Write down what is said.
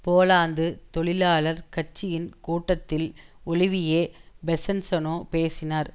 Poland தொழிலாளர் கட்சியின் கூட்டத்தில் ஒலிவியே பெசன்ஸநோ பேசினார்